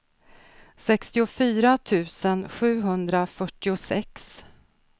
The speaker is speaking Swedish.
sextiofyra tusen sjuhundrafyrtiosex